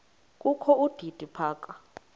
kokho udidi phaka